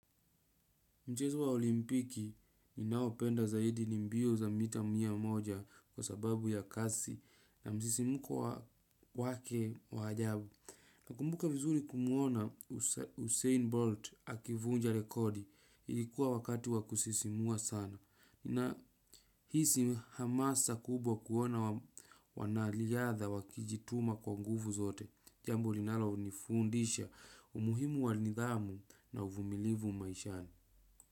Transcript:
Mchezo wa olimpiki ninaopenda zaidi ni mbio za mita mia moja kwa sababu ya kasi na msisimko wake wa ajabu. Nakumbuka vizuri kumuona Usain Bolt akivunja rekodi, ilikuwa wakati wakusisimua sana. Nahisi hamasa kubwa kuona wanariadha wakijituma kwa nguvu zote. Jambo linalo nifundisha umuhimu wa nidhamu na uvumilivu maishani.